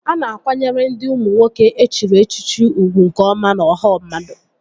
A na-akwanyere ndị ụmụ nwoke e chiri echichi ugwu nke ọma n'ọha mmadụ